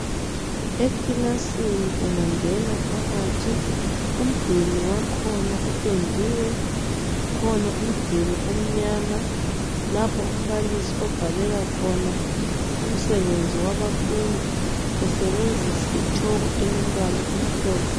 Ekilasini ungangena phakathi umduli wakhona upendiwe. Kukhona umduli omnyama lapho umbalisi obhalela khona umsebenzi wabafundi esebenzisa itshoko elombala omhlophe.